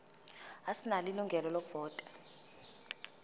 asinalo ilungelo lokuvota